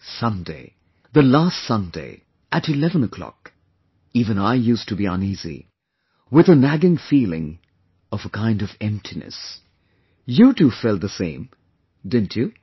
Sunday, the last Sunday, at 11 o'clock, even I used to be uneasy, with a nagging feeling of a kind of emptiness... you too felt the same, didn't you